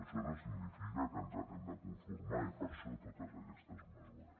això no significa que ens hi haguem de conformar i per això totes aquestes mesures